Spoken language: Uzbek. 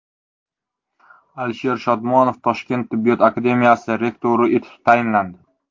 Alisher Shodmonov Toshkent tibbiyot akademiyasi rektori etib tayinlandi.